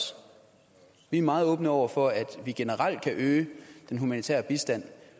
vi er meget åbne over for at vi generelt kan øge den humanitære bistand